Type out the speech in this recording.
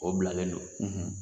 O bilalen don